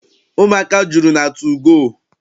Ụmụaka juru na tugoo.